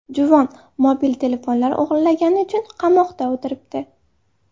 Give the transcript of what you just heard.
Juvon mobil telefonlar o‘g‘irlagani uchun qamoqda o‘tiribdi.